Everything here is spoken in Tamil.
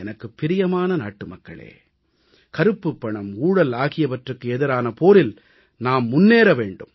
எனக்குப் பிரியமான நாட்டுமக்களே கருப்புப் பணம் ஊழல் ஆகியவற்றுக்கு எதிரான போரில் நாம் முன்னேற வேண்டும்